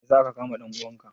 Me ya sa aka kama dan uwanka?